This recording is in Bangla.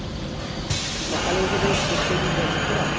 তো সকালে উঠে তো প্রত্যেকদিন জল দিস তোরা?